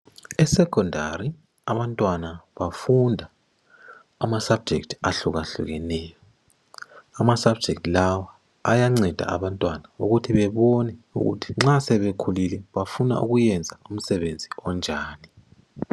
Esecondary abantwana bafunda amasubject ahlukahlukeneyo. Amasubject lawa ayanceda abantwana ukuthi bebone ukuthi nxa sebekhulile bafuna ukuyenza umsebenzi onjani.